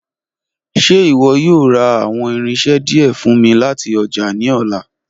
Ṣe iwọ yoo ra awọn irinṣẹ diẹ fun mi lati ọja ni ọla?